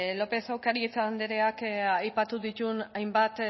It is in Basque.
lópez de ocariz andreak aipatu dituen hainbat